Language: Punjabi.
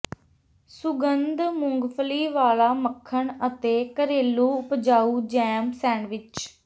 ਸੁਗੰਧ ਮੂੰਗਫਲੀ ਵਾਲਾ ਮੱਖਣ ਅਤੇ ਘਰੇਲੂ ਉਪਜਾਊ ਜੈਮ ਸੈਂਡਵਿਚ